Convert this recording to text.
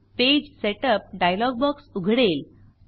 page setup dialogue box उघडेल